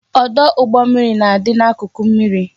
Ọdụ ụgbọ mmiri na-adị n'akụkụ mmiri